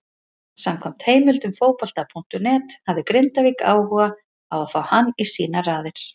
Samkvæmt heimildum Fótbolta.net hafði Grindavík áhuga á að fá hann í sínar raðir.